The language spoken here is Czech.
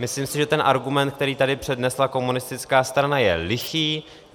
Myslím si, že ten argument, který tady přednesla komunistická strana je lichý.